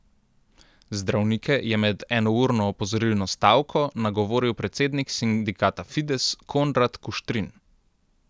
Zdravnike je med enourno opozorilno stavko nagovoril predsednik sindikata Fides Konrad Kuštrin.